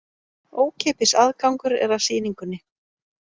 Ókeypis aðgangur er að sýningunni